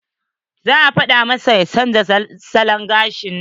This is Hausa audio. Za a fada masa ya chanza salon gashin nan.